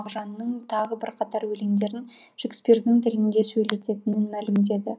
мағжанның тағы бірқатар өлеңдерін шекспирдің тілінде сөйлететінін мәлімдеді